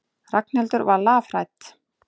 Ragnhildur var lafhrædd.